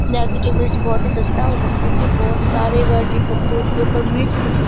ने की जो मिर्च बहुत ही सस्ता हो सकता है क्या बहुत सारे कद्दू-वड्डू पर मिर्च सबसे सस --